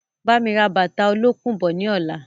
Bámi ra bàtà olókùn bọ̀ ni ọ̀la!